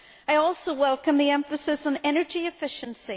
I also welcome the emphasis on energy efficiency.